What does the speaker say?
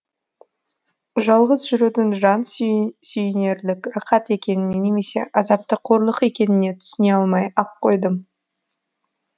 жалғыз жүрудің жан сүйінерлік рақат екеніне немесе азапты қорлық екеніне түсіне алмай ақ қойдым